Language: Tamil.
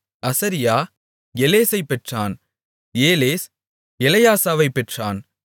அசரியா எலேசைப் பெற்றான் ஏலேஸ் எலெயாசாவைப் பெற்றான்